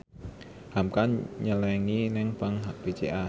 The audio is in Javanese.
hamka nyelengi nang bank BCA